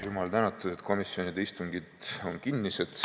Jumal tänatud, et komisjonide istungid on kinnised.